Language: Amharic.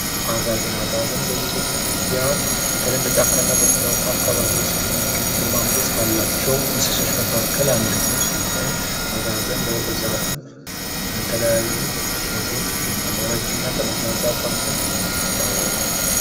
አጋዘን አጋዘን በኢትዮጵያ በተለይም በጫካና በኮረብታ አካባቢዎች ከሚገኙ ግርማ ሞገስ ካላቸው እንስሶች መካከል አንደኛው ሲሆን፤ አጋዘን በብዛትም በተለያዩ ቦታዎች ይገኛል። ለረጅም እና ጠመዝማዛ ቀንዱ ይታወቃል።